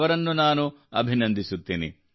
ಅವರನ್ನು ನಾನು ಅಭಿನಂದಿಸುತ್ತೇನೆ